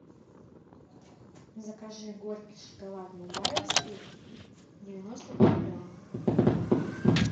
закажи горький шоколад бабаевский девяносто пять грамм